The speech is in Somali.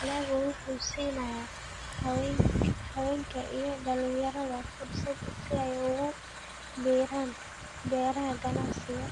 Dalaggu wuxuu siinayaa haweenka iyo dhalinyarada fursado si ay ugu biiraan beeraha ganacsiga.